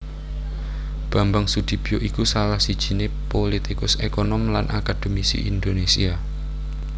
Bambang Sudibyo iku salah sijiné pulitikus ékonom lan akadhemisi Indonésia